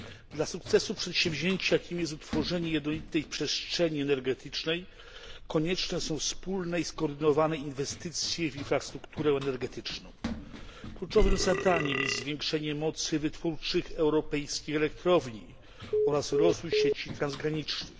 Dla powodzenia przedsięwzięcia, jakim jest utworzenie jednolitej przestrzeni energetycznej, konieczne są wspólne i skoordynowane inwestycje w infrastrukturę energetyczną. Kluczowym zadaniem jest zwiększenie mocy wytwórczych europejskich elektrowni oraz rozwój sieci transgranicznych.